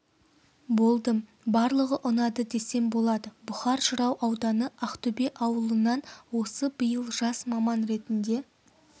болдым барлығы ұнады десем болады бұхар жырау ауданы ақтөбе ауылынан осы биыл жас маман ретінде